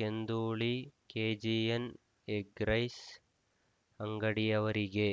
Kendhuli KGN egg rice ಅಂಗಡಿಯವರಿಗೆ